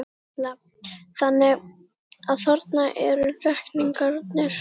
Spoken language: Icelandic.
Erla: Þannig að þarna eru reikningarnir?